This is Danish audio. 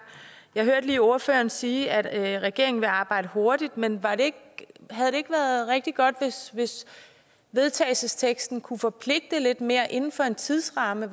jeg hørte lige ordføreren sige at regeringen vil arbejde hurtigt men havde det ikke været rigtig godt hvis vedtagelsesteksten kunne forpligte lidt mere inden for en tidsramme